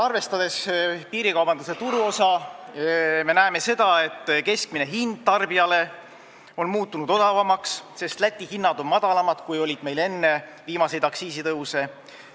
Arvestades piirikaubanduse turuosa me näeme sedagi, et keskmine hind on tarbijale odavamaks muutunud, sest Läti alkoholihinnad on madalamad, kui olid meil enne viimaseid aktsiisitõuse.